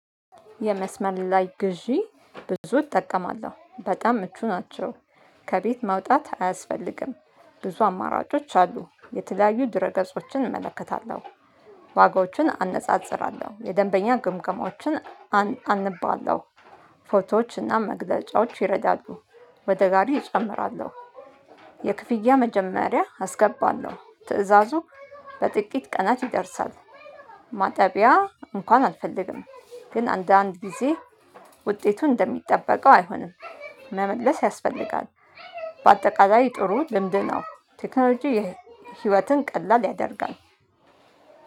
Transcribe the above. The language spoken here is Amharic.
የመስመር ላይ ግዢ ብዙ እጠቀማለሁ በጣም ምቹ ናቸው። ከቤት መውጣት አያስፈልግም። ብዙ አማራጮች አሉ የተለያዩ ድረገጾችን እመለከታለሁ። ዋጋዎችን አነጻጽራለሁ የደንበኛ ግምገማዎችን አነባለው። ፎቶዎች እና መግለጫዎች ይረዳሉ። ወደ ጋሪ እጨምራለሁ። የክፍያ መጀመሪያ አስገባለሁ ትእዛዙ በጥቂት ቀናት ይደርሳል። ማጠቢያ እንኳን አልፈልግም። ግን አንዳንድ ጊዜ ውጤቱ እንደሚጠበቀው አይሆንም። መመለስ ያስፈልጋል። በአጠቃላይ ጥሩ ልምድ ነው። ቴክኖሎጂ ህይወትን ቀላል ያደርጋል።